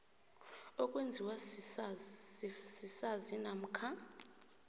okwenziwa sisazi namkha